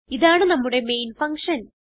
ഇതാണ് നമ്മുടെ main function